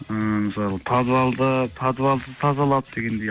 ммм мысалы подвалды тазалап дегендей